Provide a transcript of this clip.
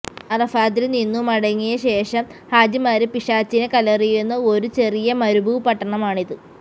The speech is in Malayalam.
അറഫാതില്നിന്നു മടങ്ങിയ ശേഷം ഹാജിമാര് പിശാചിനെ കല്ലെറിയുന്ന ഒരു ചെറിയ മരുഭൂപട്ടണമാണിത്